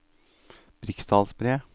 Briksdalsbre